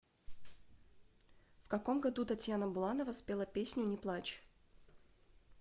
в каком году татьяна буланова спела песню не плачь